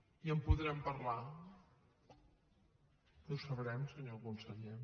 i en podrem parlar i ho sabrem senyor conseller